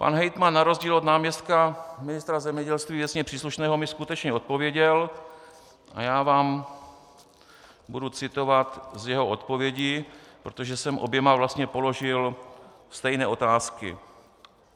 Pan hejtman na rozdíl od náměstka ministra zemědělství věcně příslušného mi skutečně odpověděl, a já vám budu citovat z jeho odpovědi, protože jsem oběma vlastně položil stejné otázky.